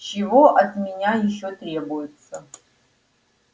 чего от меня ещё требуется